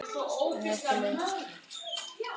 Núna ertu laus.